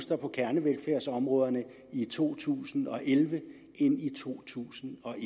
på kernevelfærdsområderne i to tusind og elleve end i to tusind og et